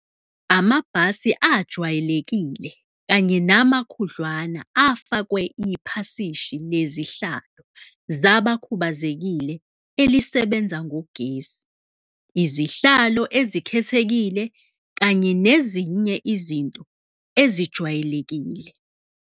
Amabhasi ajwayelekile kanye namakhudlwana afakwe iphasishi lezihlalo zabakhubazekile elisebenza ngogesi, izihlalo ezikhethekile kanye nezinye izinto ezijwayelekile.